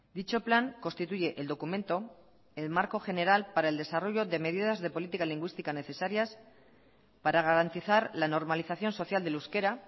dicho plan constituye el documento el marco general para el desarrollo de medidas de política lingüística necesarias para garantizar la normalización social del euskera